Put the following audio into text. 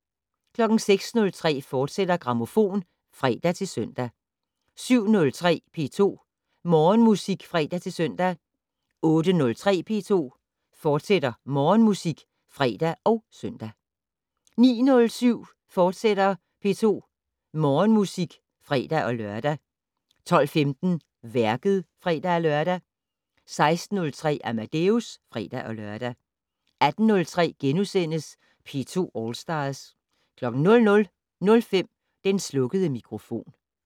06:03: Grammofon, fortsat (fre-søn) 07:03: P2 Morgenmusik (fre-søn) 08:03: P2 Morgenmusik, fortsat (fre og søn) 09:07: P2 Morgenmusik, fortsat (fre-lør) 12:15: Værket (fre-lør) 16:03: Amadeus (fre-lør) 18:03: P2 All Stars * 00:05: Den slukkede mikrofon *